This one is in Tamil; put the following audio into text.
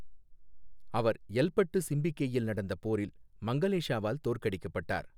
அவர் எல்பட்டு சிம்பிகேயில் நடந்த போரில் மங்களேஷாவால் தோற்கடிக்கப்பட்டார்.